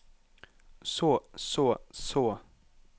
så så så